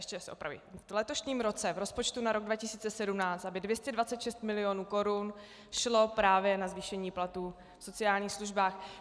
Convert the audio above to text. Ještě se opravím: v letošním roce, v rozpočtu na rok 2017, aby 226 mil. korun šlo právě na zvýšení platů v sociálních službách.